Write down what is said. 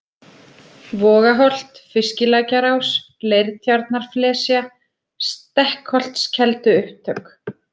Vogaholt, Fiskilækjarás, Leirtjarnarflesja, Stekkholtskelduupptök